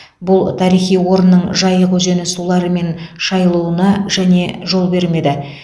бұл тарихи орынның жайық өзені суларымен шайылуына және жол бермеді